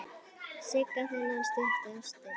Sigga þagnar stutta stund.